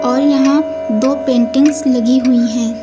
और यहां दो पेंटिंग्स लगी हुई हैं।